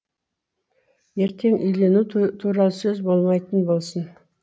ертең үйлену туралы сөз болмайтын болсын